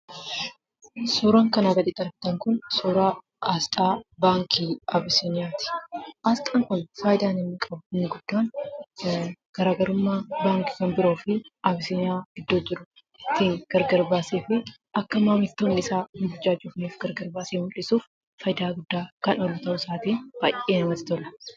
Suuraan kanaan gaditti argamu immoo suuraa aasxaa baankii Abiisiiniyaati. Aasxaan kun immoo faaydaan isaas immoo isa baankii biroo irraa adda baasee mul'isuuf kan fayyaduu dha. Innis baayyee kan namatti toluu dha.